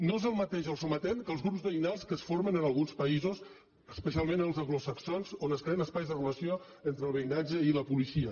no és el mateix el sometent que els grups veïnals que es formen en alguns països especialment els anglosaxons on es creen espais de relació entre el veïnatge i la policia